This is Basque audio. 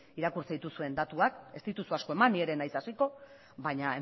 irakurtzen dituzuen datuak ez dituzu asko eman ni ere ez naiz hasiko baina